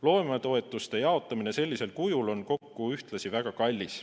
Loometoetuste jaotamine sellisel kujul on ühtlasi väga kallis.